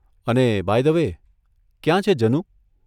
અને by the way, ક્યાં છે જેનું?